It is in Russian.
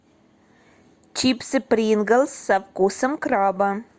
чипсы принглс со вкусом краба